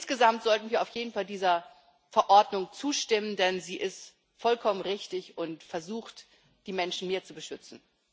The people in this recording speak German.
Insgesamt sollten wir auf jeden Fall dieser Verordnung zustimmen, denn sie ist vollkommen richtig und versucht, die Menschen mehr zu beschützen.